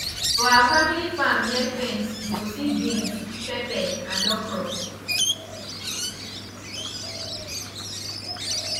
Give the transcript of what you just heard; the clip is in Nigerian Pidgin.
for our family farm near fence you go see beans pepper and okro